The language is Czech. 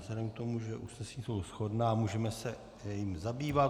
Vzhledem k tomu, že usnesení jsou shodná, můžeme se jimi zabývat.